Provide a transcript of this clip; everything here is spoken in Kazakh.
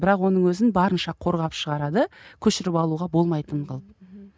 бірақ оның өзін барынша қорғап шығарады көшіріп алуға болмайтын қылып